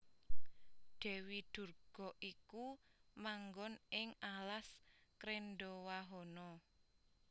Dèwi Durga iku manggon ing alas Krendhawahana